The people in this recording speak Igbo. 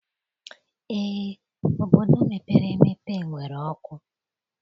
Eé, obodo mepere emepe nwere ọkụ